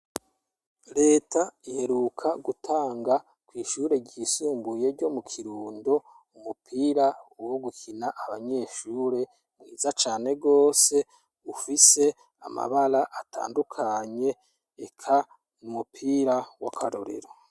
Leta iheruka gutanga kw'ishure ryisumbuye ryo mu kirundo umupira uwo gukina abanyeshure mwiza cane rwose ufise amabara atandukanye eka mu umupira w'akarorero.